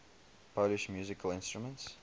polish musical instruments